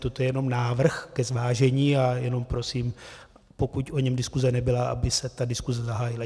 Toto je jenom návrh ke zvážení a jenom prosím, pokud o něm diskuse nebyla, aby se ta diskuse zahájila.